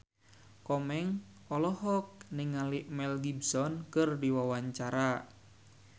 Komeng olohok ningali Mel Gibson keur diwawancara